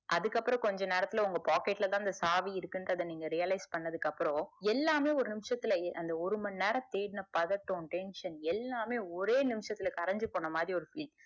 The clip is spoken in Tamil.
அதுக்கு அப்புறம் கொஞ்ச நேரத்துல உங்க பாக்கெட்ல தான் அந்த சாவி இருகுங்குரத நீங்க realize பண்ணதுக்கு அப்புறம் எல்லாமே அந்த ஒரு நிமிஷத்துலஅந்த ஒரு மணி நேரத்துல தேடுன பதட்டம் tension எல்லாமே ஒரு நிமிசத்துல கரஞ்சு போன மாதிரி ஒரு feel